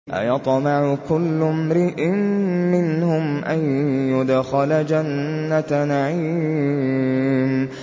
أَيَطْمَعُ كُلُّ امْرِئٍ مِّنْهُمْ أَن يُدْخَلَ جَنَّةَ نَعِيمٍ